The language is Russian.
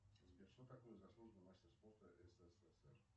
сбер что такое заслуженный мастер спорта ссср